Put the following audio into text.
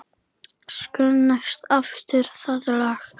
Söng næstum alltaf það lag.